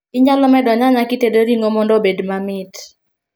Inyalo medo nyanya kitedo ring'o mondo obed mamit